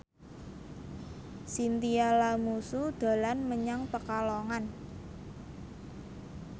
Chintya Lamusu dolan menyang Pekalongan